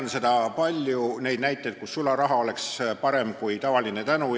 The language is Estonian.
Ma tean palju näiteid, kus sularaha oleks parem kui tavaline tänu.